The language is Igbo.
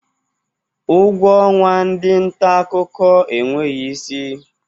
Ụgwọ ọnwa ndị ntaakụkọ enweghi isi.